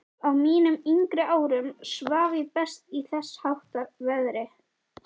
Á mínum yngri árum svaf ég best í þessháttar veðri.